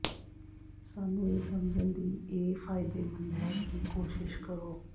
ਸਾਨੂੰ ਇਹ ਸਮਝਣ ਦੀ ਇਹ ਫਾਇਦੇਮੰਦ ਹੈ ਕੀ ਕੋਸ਼ਿਸ਼ ਕਰੋ